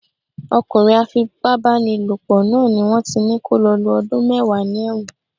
Ọkùnrin á fi pá bá ni lò pọ̀ náà ni wón ti ní kó lọ lo ọdún mẹ́wàá ní ẹ̀wọ̀n.